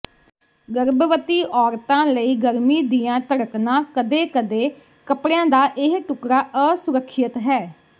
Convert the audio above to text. ਗਰਭਵਤੀ ਔਰਤਾਂ ਲਈ ਗਰਮੀ ਦੀਆਂ ਧੜਕਣਾਂ ਕਦੇ ਕਦੇ ਕੱਪੜਿਆਂ ਦਾ ਇਹ ਟੁਕੜਾ ਅਸੁਰੱਖਿਅਤ ਹੈ